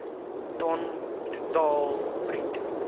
ton totaal bruto